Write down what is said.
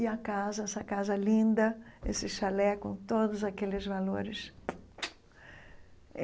E a casa, essa casa linda, esse chalé com todos aqueles valores.